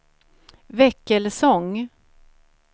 Väckelsång